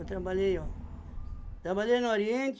Eu trabalhei, ó. Trabalhei no Oriente.